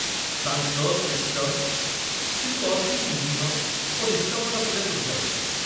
ଶାନ୍ତ ଶିଷ୍ଟ କିନ୍ତୁ ଅତି ନିରୀହ ଓ ନିଷ୍କପଟ ଥିଲେ ସୂର୍ଯ୍ୟମଣି।